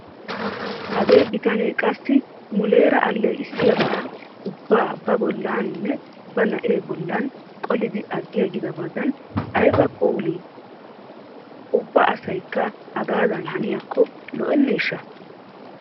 Hagee bitanee qassi muleera alleeqissiyabaa ubbaa ba bollaaninne ba na'ee bollan qolidi aggiigidabadan ayba phoolii! Ubba asaykka hagaadan haniyakko lo'aneeshsha!